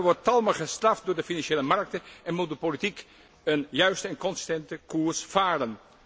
Daarbij wordt talmen gestraft door de financiële markten en moet de politiek een juiste en consistente koers varen.